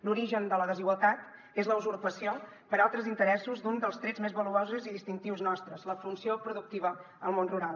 l’origen de la desigualtat és la usurpació per altres interessos d’un dels trets més valuosos i distintius nostres la funció productiva del món rural